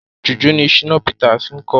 Jùjú ni Shina Peters ń kọ.